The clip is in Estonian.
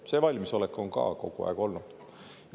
See valmisolek on ka kogu aeg olnud.